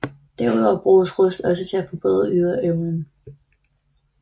Derudover bruges Rust også til at forbedre ydeevnen